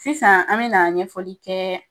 Sisan an bena ɲɛfɔli kɛ